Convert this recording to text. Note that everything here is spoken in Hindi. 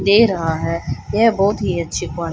दे रहा है यह बहोत ही अच्छी क्वा--